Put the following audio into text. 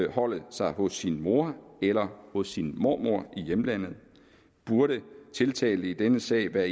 opholde sig hos sin mor eller hos sin mormor i hjemlandet burde tiltalte i denne sag det er